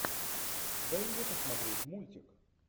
дай мне посмотреть мультик